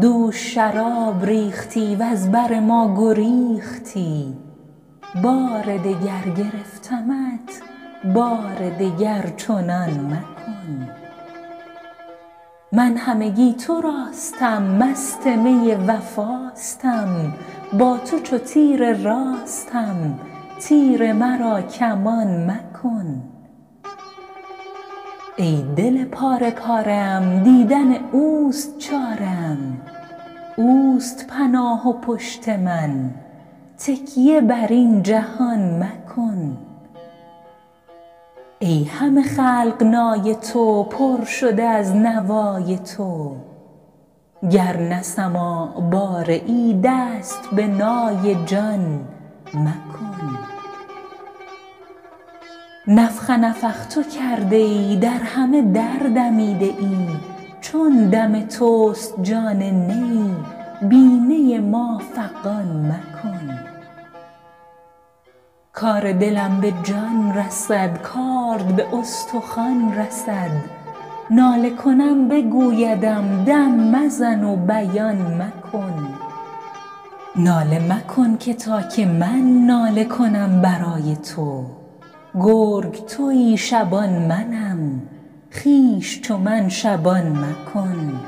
دوش شراب ریختی وز بر ما گریختی بار دگر گرفتمت بار دگر چنان مکن من همگی تراستم مست می وفاستم با تو چو تیر راستم تیر مرا کمان مکن ای دل پاره پاره ام دیدن اوست چاره ام اوست پناه و پشت من تکیه بر این جهان مکن ای همه خلق نای تو پر شده از نوای تو گر نه سماع باره ای دست به نای جان مکن نفخ نفخت کرده ای در همه در دمیده ای چون دم توست جان نی بی نی ما فغان مکن کار دلم به جان رسد کارد به استخوان رسد ناله کنم بگویدم دم مزن و بیان مکن ناله مکن که تا که من ناله کنم برای تو گرگ تویی شبان منم خویش چو من شبان مکن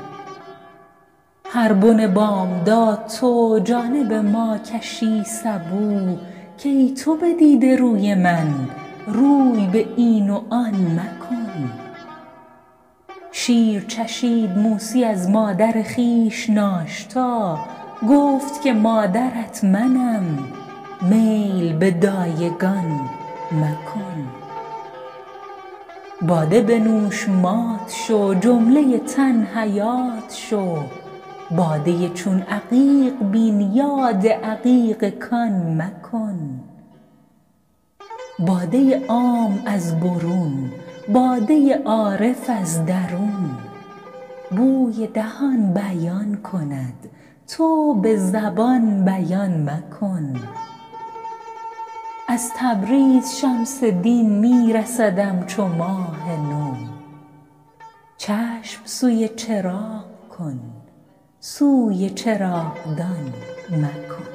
هر بن بامداد تو جانب ما کشی سبو کای تو بدیده روی من روی به این و آن مکن شیر چشید موسی از مادر خویش ناشتا گفت که مادرت منم میل به دایگان مکن باده بنوش مات شو جمله تن حیات شو باده چون عقیق بین یاد عقیق کان مکن باده عام از برون باده عارف از درون بوی دهان بیان کند تو به زبان بیان مکن از تبریز شمس دین می رسدم چو ماه نو چشم سوی چراغ کن سوی چراغدان مکن